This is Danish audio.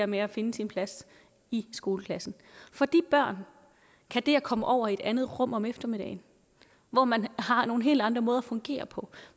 med at finde sin plads i skoleklassen for de børn kan det at komme over i et andet rum om eftermiddagen hvor man har nogle helt andre måder at fungere på